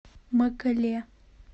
мэкэле